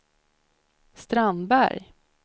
Strandberg